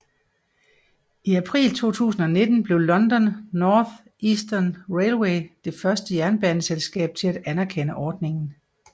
I april 2019 blev London North Eastern Railway det første jernbaneselskab til at anerkende ordningen